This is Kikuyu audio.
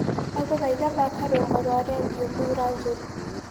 ndagũthaĩtha thaka rwĩmbo rwa redĩo thũra njũrũ